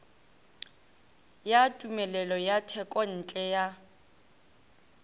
ya tumelelo ya thekontle ya